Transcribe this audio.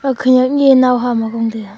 khanak nyi nao hama gong tai a.